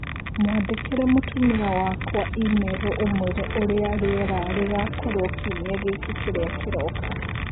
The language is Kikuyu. Mwandĩkĩre mũtumia wakwa i-mīrū ũmũire ũrĩa rĩera rĩgakorũo kiumia gĩkĩ kĩrĩa kĩroka